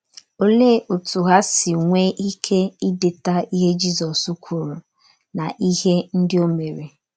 Olee otú ha si nwee ike ideta ihe Jizọs kwuru, na ihe ndị o mere?